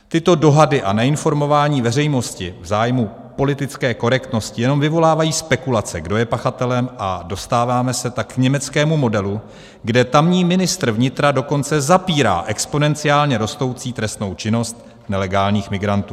Tyto dohady a neinformování veřejnosti v zájmu politické korektnosti jenom vyvolávají spekulace, kdo je pachatelem, a dostáváme se tak k německému modelu, kde tamní ministr vnitra dokonce zapírá exponenciálně rostoucí trestnou činnost nelegálních migrantů.